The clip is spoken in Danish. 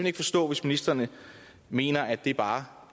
ikke forstå hvis ministeren mener at det bare